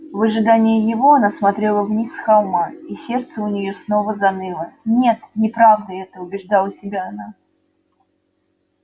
в ожидании его она смотрела вниз с холма и сердце у нее снова заныло нет неправда это убеждала себя она